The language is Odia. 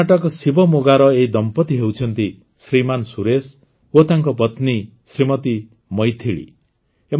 କର୍ଣ୍ଣାଟକ ଶିବମୋଗାର ଏହି ଦମ୍ପତି ହେଉଛନ୍ତି ଶ୍ରୀମାନ ସୁରେଶ ଓ ତାଙ୍କ ପତ୍ନୀ ଶ୍ରୀମତୀ ମୈଥିଳୀ